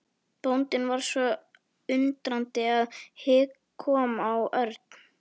Bóndinn var svo undrandi að hik kom á Örn.